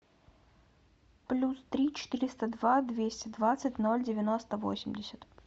плюс три четыреста два двести двадцать ноль девяносто восемьдесят